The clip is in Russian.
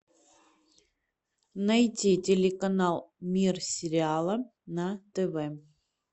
найти телеканал мир сериала на тв